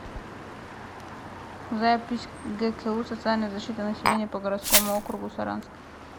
запись гку социальная защита населения по городскому округу саранск